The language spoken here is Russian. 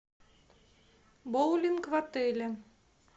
боулинг в отеле